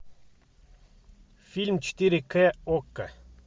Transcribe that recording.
фильм четыре к окко